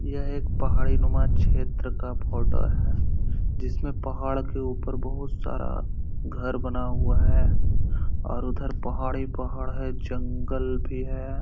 यह एक पहाड़ी नुमा क्षेत्र का फोटो है जिसमें पहाड़ के ऊपर बहुत सारा घर बना हुआ है और उधर पहाड़ हीं पहाड़ है जंगल भी है।